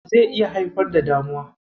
zai iya haifar da damuwa.